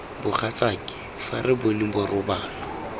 mogatsake fa re bone borobalo